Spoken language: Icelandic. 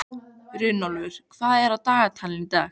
Runólfur, hvað er á dagatalinu í dag?